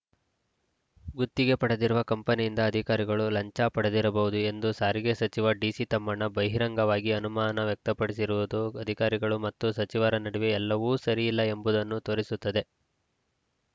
ಗುತ್ತಿಗೆ ಪಡೆದಿರುವ ಕಂಪನಿಯಿಂದ ಅಧಿಕಾರಿಗಳು ಲಂಚ ಪಡೆದಿರಬಹುದು ಎಂದು ಸಾರಿಗೆ ಸಚಿವ ಡಿಸಿತಮ್ಮಣ್ಣ ಬಹಿರಂಗವಾಗಿ ಅನುಮಾನ ವ್ಯಕ್ತಪಡಿಸಿರುವುದು ಅಧಿಕಾರಿಗಳು ಮತ್ತು ಸಚಿವರ ನಡುವೆ ಎಲ್ಲವೂ ಸರಿಯಿಲ್ಲ ಎಂಬುದನ್ನು ತೋರಿಸುತ್ತದೆ